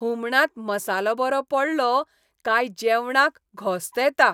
हुमणांत मसालो बरो पडलो काय जेवणाक घोस्त येता.